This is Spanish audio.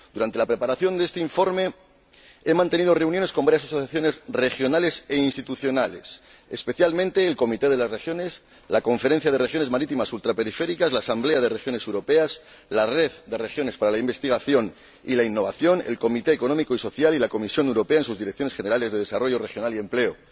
Durante la preparación de este informe he mantenido reuniones con varias asociaciones regionales e institucionales, especialmente el Comité de las Regiones, la Conferencia de Regiones Periféricas Marítimas, la Asamblea de Regiones Europeas, la Red de Regiones para la Investigación y la Innovación, el Comité Económico y Social Europeo y la Comisión Europea, en sus Direcciones Generales de Desarrollo Regional y Empleo.